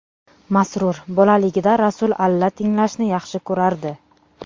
Masrur : Bolaligida Rasul alla tinglashni yaxshi ko‘rardi.